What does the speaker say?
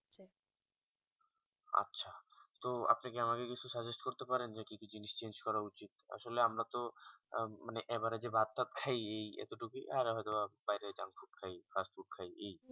তো আপনি কি আমাকে কিছু suggest করতে পারেন যে কি কি জিনিস change করা উচিত আসলে আমরা তো মানে average ভাত তো খেয়েই এত টুকু এই